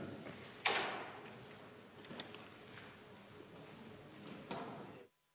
Istungi lõpp kell 18.10.